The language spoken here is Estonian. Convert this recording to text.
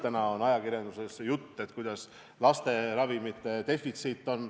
Täna on ajakirjanduses juttu sellest, et on tekkinud laste ravimite defitsiit.